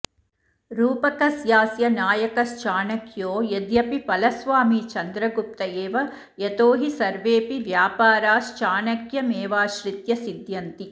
रूपकस्यास्य नायकश्चाणक्यो यद्यपि फलस्वामी चन्द्रगुप्त एव यतो हि सर्वेऽपि व्यापाराश्चाणक्यमेवाश्रित्य सिध्यन्ति